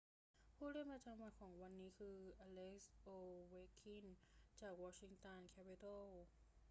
ผู้เล่นประจำวันของวันนี้คือ อเล็กซ์ โอเวคคิน จากวอชิงตันแคปิตัลส์